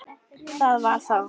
Það var þá.